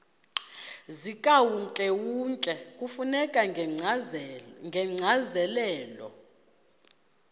zikawonkewonke kufuneka ngokwencazelo